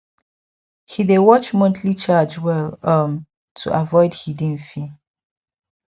he dey watch monthly charge well um to avoid hidden fee